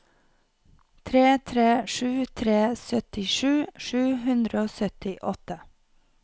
tre tre sju tre syttisju sju hundre og syttiåtte